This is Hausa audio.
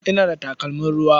Ina da takalmin ruwa?